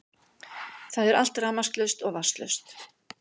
Það er allt rafmagnslaust og vatnslaust